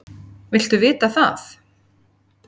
Viltu vita það?